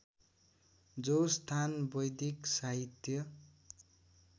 जो स्थान वैदिक साहित्य